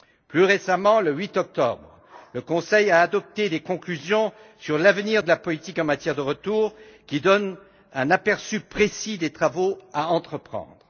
Plus récemment, le 8 octobre, le Conseil a adopté des conclusions sur l'avenir de la politique en matière de retour, qui donnent un aperçu précis des travaux à entreprendre.